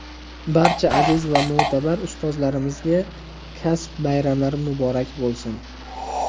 Barcha aziz va mo‘tabar ustozlarimizga kasb bayramlari muborak bo‘lsin!.